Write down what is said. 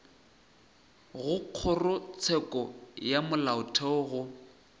go kgorotsheko ya molaotheo go